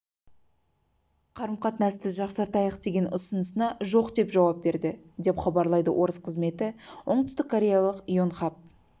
қарым-қатынасты жақсартайық деген ұсынысына жоқ деп жауап берді деп хабарлайды орыс қызметі оңтүстік кореялық йонхап